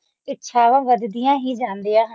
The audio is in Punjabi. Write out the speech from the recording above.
ਇੱਛਾਵਾਂ ਵੱਧਦੀਆਂ ਹੀ ਜਾਂਦੀਆਂ ਹਨ